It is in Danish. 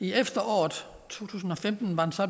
i efteråret to tusind og femten var det så